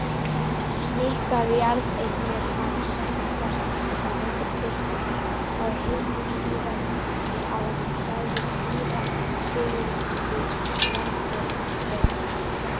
Miklar jarðeignir hafa safnast á hendur kirkjunnar á hinum síðari árum, sagði síra Sigurður varfærnislega.